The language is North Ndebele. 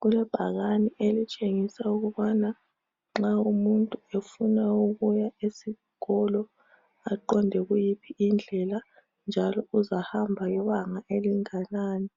Kulebhakane elitshengisa ukubana nxa umuntu efuna ukuya esikolo aqonde kuyiphi indlela njalo uzahamba lebanga elinganani,